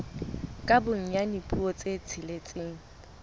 ka bonyane dipuo tse tsheletseng